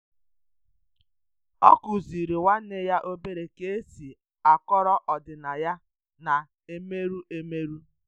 ọ kuziri nwanne ya obere ka esi a kọọrọ ọdinaya na-emeru emeru.